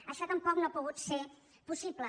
això tampoc no ha pogut ser possible